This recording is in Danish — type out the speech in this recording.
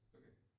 Okay